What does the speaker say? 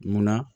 Munna